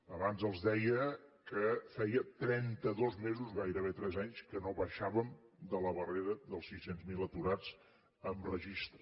abans els deia que feia trenta dos mesos gairebé tres anys que no baixàvem de la barrera dels sis cents miler aturats amb registre